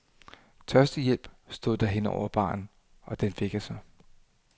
Tørstehjælp, stod der her over baren, og den fik jeg så.